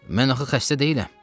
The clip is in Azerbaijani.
Mən axı xəstə deyiləm.